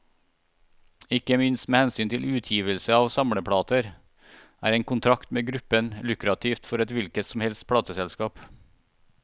Ikke minst med hensyn til utgivelse av samleplater, er en kontrakt med gruppen lukrativt for et hvilket som helst plateselskap.